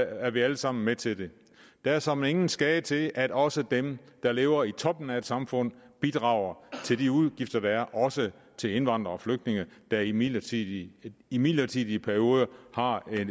er vi alle sammen med til det det er såmænd ingen skade til at også dem der lever i toppen af et samfund bidrager til de udgifter der er også til indvandrere og flygtninge der i midlertidige i midlertidige perioder har